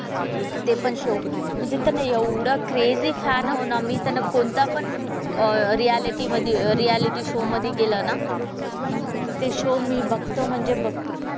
ते पण शो. म्हणजे त्याने एवढं क्रेझी फॅन आहो ना आम्ही त्यानं कोणतापण अह रिऍलिटी मधे रिऍलिटी शो मधे गेला ना ते शो मी बघतो म्हणजे बघतो.